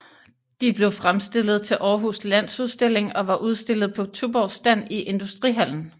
De blev fremstillet til Århus Landsudstilling og var udstillet på Tuborgs stand i Industrihallen